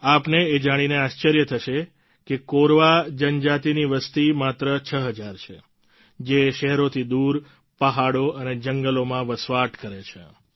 આપને એ જાણીને આશ્ર્ચર્ય થશે કે કોરવા જનજાતિની વસતી માત્ર 6000 છે જે શહેરોથી દૂર પહાડો અને જંગલોમાં વસવાટ કરે છે